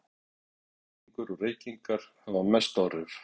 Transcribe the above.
Hækkuð blóðfita, blóðþrýstingur og reykingar hafa mest áhrif.